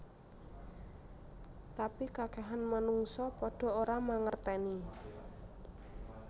Tapi kakehan manungsa padha ora mangerteni